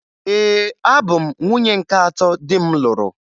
Ee, abụ m nwunye nke atọ di m lụrụ